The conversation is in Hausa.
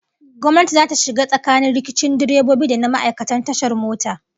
Gwamnati zata shiga tsakanin rikicin direbobi da na ma'aikatan tashar mota